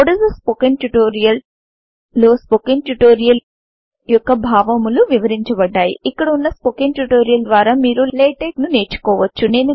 what is a spoken tutorial లో spoken tutorial యొక్క భావములు వివరించబడ్డాయి ఇక్కడ వున్న స్పోకెన్ ట్యుటోరియల్ ద్వారా మీరు లాటెక్స్ ను నేర్చుకోవచ్చు